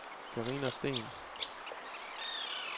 Karina Steen